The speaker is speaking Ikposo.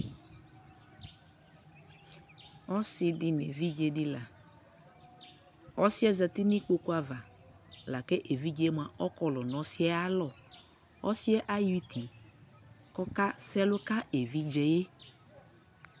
ɔsiidi nʋ ɛvidzɛ di la, ɔsiiɛ zati nʋikpɔkʋ aɣa, lakʋ ɛvidzɛ kɔlʋ nʋ ɔsiiɛ alɔ, ɔsiiɛ ayɔ itii kʋ ɔka sɛlʋ ka ɛvidzɛ